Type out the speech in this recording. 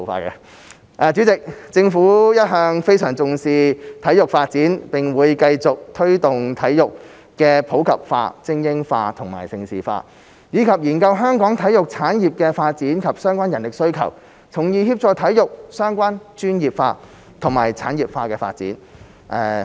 代理主席，政府一向非常重視體育發展，並會繼續推動體育普及化、精英化及盛事化，以及研究香港體育產業的發展及相關人力需求，從而協助體育相關專業化及產業化的發展。